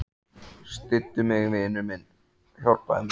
Styddu mig, vinur minn, hjálpaðu mér.